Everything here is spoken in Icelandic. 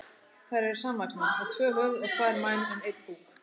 Þær eru samvaxnar, með tvö höfuð og tvær mænur en einn búk.